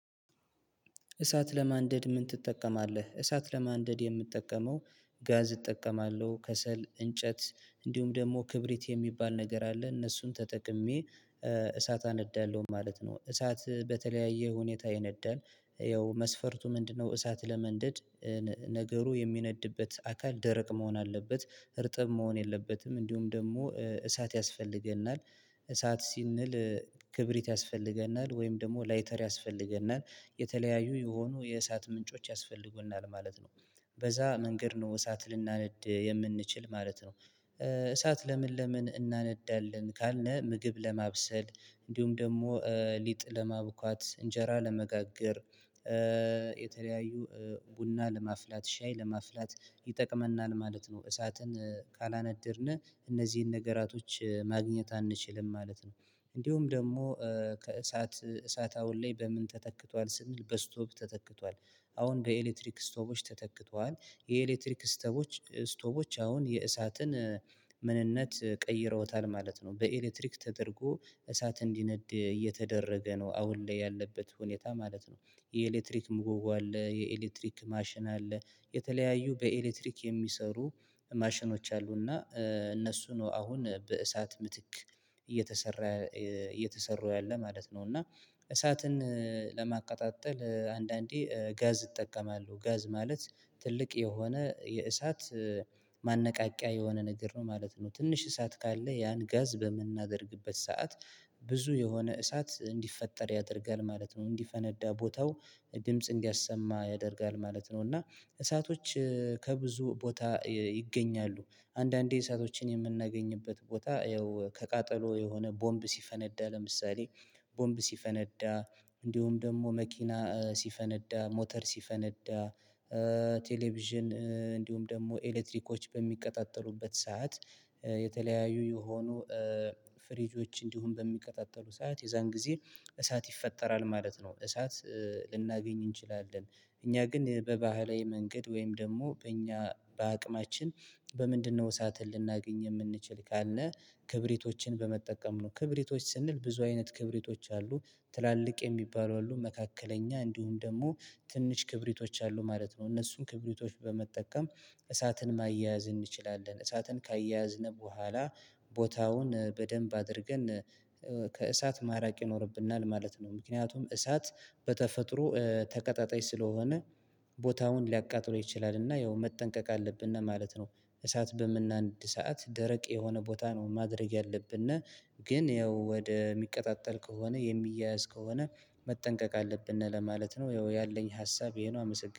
እሳት ለማንደድ ምን ትጠቀማለህ? እሳት ለማንደድ የምጠቀመው ጋዝ እጠቀማለሁ ከሰል እንጨት እንዲሁም ደግሞ ክብሪት የሚባል ነገር አለ እነሱን ተጠቅሜ እሳት አነዳለሁ ማለት ነው። እሳት በተለያየ ሁኔታ ይነዳል ያው መስፈርቱ ምንድነው? እሳት ለመንደድ ነገሩ የሚነድበት አካል ደረቅ መሆን አለበት እርጥብ መሆን የለበትም። እንዲሁም ደግሞ እሳት ያስፈልገናል እሳት ሲንል ክብሪት ያስፈልገናል ወይም ደግሞ ላይተር ያስፈልገናል የተለያዩ የሆኑ የእሳት ምንጮች ያስፈልጉናል ማለት ነው። በዛ መንገድ ነው እሳት ልናነድ የምንችል ማለት ነው። እሳት ለምን ለምን እናነዳለን ካልነ ምግብ ለማብሰል እንዲሁም ደግሞ ሊጥ ለማቡካት እንጀራ ለመጋገር የተለያዩ ቡና ለማፍላት ሻይ ለማፍላት ይጠቅመናል ማለት ነው። እሳትን ካላነደድነ እነዚህን ነገራቶች ማግኘት አንችልም ማለት ነው። እንዲሁም ደግሞ ከእሳት እሳት አሁን ላይ በምን ተተክቷል ስንል በስቶብ ተተክቷል። አሁን በኤሌክትሪክ ስቶቦች ተተክተዋል የኤሌክትሪክ ስተቦች ስቶቦች አሁን የእሳትን ምንነት ቀይረውታል ማለት ነው። በኤሌትሪክ ተደርጎ እሳት እንዲነድ እየተደረገ ነው አሁን ላይ ያለበት ሁኔታ ማለት ነው። የኤሌትሪክ ምጎጎ አለ የኤሌትሪክ ማሽን አለ የተለያዩ በኤሌትሪክ የሚሰሩ ማሽኖች አሉና እነሱ ነው አሁን በእሳት ምትክ እየተሰራ እየተሰራው ያለ ማለት ነው። እና እሳትን ለማቀጣጠል አንዳንዴ ጋዝ እጠቀማለሁ ጋዝ ማለት ትልቅ የሆነ የእሳት ማነቃቂያ የሆነ ነገር ነው ማለት ነው። ትንሽ እሳት ካለ ያን ጋዝ በምናደርግበት ሰዓት ብዙ የሆነ እሳት እንዲፈጠር ያደርጋል ማለት ነው። እንዲፈነዳ ቦታው ድምጽ እንዲያሰማ ያደርጋል ማለት ነው። እና እሳቶች ከብዙ ቦታ ይገኛሉ። አንዳንዴ እሳቶችን የምናገኝበት ቦታ ያው ከቃጠሎ የሆነ ቦምብ ሲፈነዳ ለምሳሌ ቦምብ ሲፈነዳ እንዲሁም ደግሞ መኪና ሲፈነዳ ሞተር ሲፈነዳ ቴሌቪዥን እንዲሁም ደግሞ ኤሌትሪኮች በሚቀጣጠሉበት ሰዓት የተለያዩ የሆኑ ፍሪጆች እንዲሁም በሚቀጣጠሉ ሰዓት የዛን ጊዜ እሳት ይፈጠራል ማለት ነው። እሳት ልናገኝ እንችላለን። እኛ ግን በባህላዊ መንገድ ወይም ደግሞ በእኛ በአቅማችን በምንድነው? እሳትን ልናገኝ የምንችል ካልነ ክብሪቶችን በመጠቀም ነው ክብሪቶች ስንል ብዙ አይነት ክብሪቶች አሉ ትላልቅ የሚባሉ አሉ መካከለኛ እንዲሁም ደግሞ ትንሽ ክብሪቶች አሉ ማለት ነው። እነሱም ክብሪቶች በመጠቀም እሳትን ማያያዝ እንችላለን እሳትን ከያዝነ በኋላ ቦታውን በደንብ አድርገን ከእሳት ማራቅ ይኖርብናል ማለት ነው። ምክንያቱም እሳት በተፈጥሮ ተቀጣጣይ ስለሆነ ቦታውን ሊያቃጥለው ይችላል እና ያው መጠንቀቅ አለብነ ማለት ነው። እሳት በምናንድ ሰዓት ደረቅ የሆነ ቦታ ነው ማድረግ ያለብነ እና ግን ያው ወደ ሚቀጣጠል ከሆነ የሚያያዝ ከሆነ መጠንቀቅ አለብነ ለማለት ነው። ያው ያለኝ ሀሳብ ይሄ ነው። አመሰግናለሁ